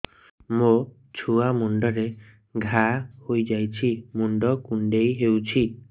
ମୋ ଛୁଆ ମୁଣ୍ଡରେ ଘାଆ ହୋଇଯାଇଛି ମୁଣ୍ଡ କୁଣ୍ଡେଇ ହେଉଛି